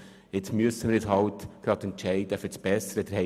Doch jetzt müssen wir uns trotzdem für den besseren Antrag entscheiden.